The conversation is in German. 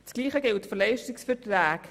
Dasselbe gilt für Leistungsverträge.